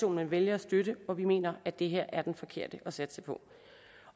man vælger at støtte og vi mener at det her er den forkerte at satse på